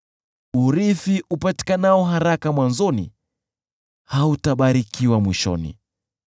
Urithi upatikanao haraka mwanzoni, hautabarikiwa mwishoni.